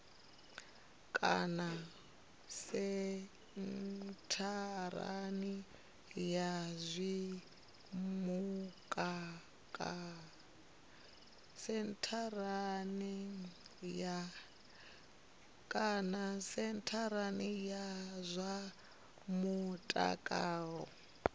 kana sentharani ya zwa mutakalo